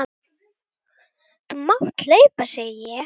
Þú mátt hlaupa, segi ég.